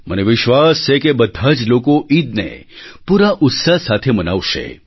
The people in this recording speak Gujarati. મને વિશ્વાસ છે કે બધા જ લોકો ઈદને પૂરા ઉત્સાહ સાથે મનાવશે